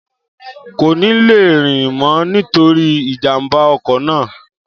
Kò ní le rìn mọ nítorí ìjàmbá ọkọ̀ náà